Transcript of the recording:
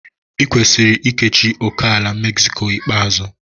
I kwesiri ikechi ókèala Mexico ikpeazụ.